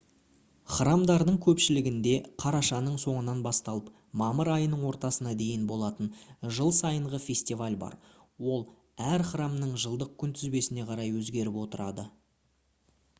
храмдардың көпшілігінде қарашаның соңынан басталып мамыр айының ортасына дейін болатын жыл сайынғы фестиваль бар ол әр храмның жылдық күнтізбесіне қарай өзгеріп отырады